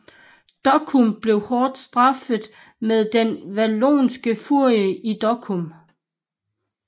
Dokkum blev hårdt straffet med den Wallonske Furie i Dokkum